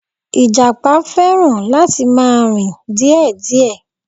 Ìjàpá fẹràn láti ma rìn díè díè